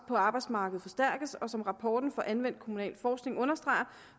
på arbejdsmarkedet forstærkes og som rapporten fra anvendt kommunalforskning understreger